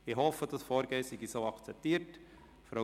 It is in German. Ich hoffe, dieses Vorgehen sei für Sie so in Ordnung.